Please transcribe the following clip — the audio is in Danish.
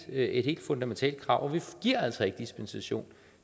et helt fundamentalt krav vi giver altså ikke dispensation